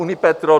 Unipetrol -